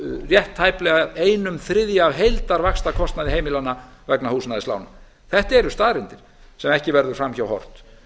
rétt tæplega einum þriðja af heildarvaxtakostnaði heimilanna vegna húsnæðislána þetta eru staðreyndir sem ekki verður fram hjá horft